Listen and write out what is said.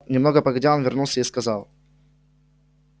немного погодя он вернулся и сказал